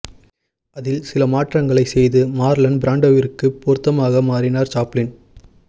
அதில் சில மாற்றங்களைச் செய்து மார்லன் பிராண்டோவிற்குப் பொருத்தமாக மாற்றினார் சாப்ளின்